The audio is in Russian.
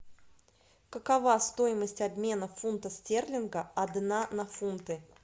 какова стоимость обмена фунта стерлинга одна на фунты